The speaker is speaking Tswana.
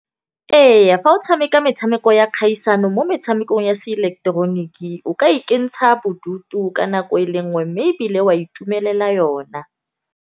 Eya, fa o tšhameka metšhameko ya kgaisano mo metšhamekong ya seileketeroniki. O ka ikentšha bodutu ka nako e le nngwe mme ebile wa itumelela yona.